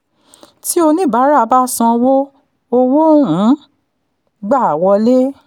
tí oníbàárà bá sanwó owó ń gba wọlé.